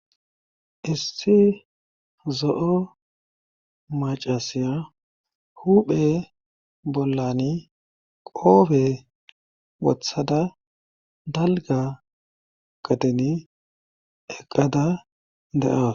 Issi zo7o macasiya huphe bollani qoobe wothada dalga qateni eqqada de7aawa